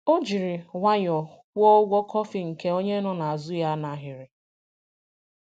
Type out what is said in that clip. Ọ jiri nwayọọ kwụọ ụgwọ kọfị nke onye nọ n’azụ ya n’ahịrị.